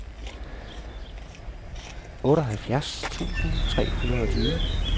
otteoghalvfjerds tusind tre hundrede og tyve